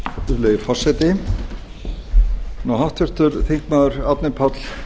virðulegi forseti nú háttvirtur þingmaður árni páll